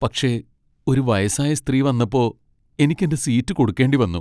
പക്ഷെ ഒരു വയസ്സായ സ്ത്രീ വന്നപ്പോ എനിക്ക് എന്റെ സീറ്റ് കൊടുക്കേണ്ടിവന്നു .